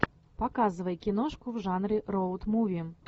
показывай киношку в жанре роут муви